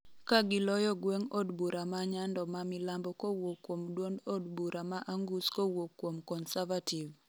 ka giloyo gweng' od bura ma Nyando ma milambo kowuok kuom duond od bura ma Angus kowuok kuom Conservative